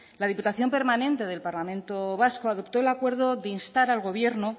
la diputación permanente del parlamento vasco adoptó el acuerdo de instar al gobierno